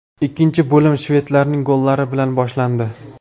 Ikkinchi bo‘lim shvedlarning gollari bilan boshlandi.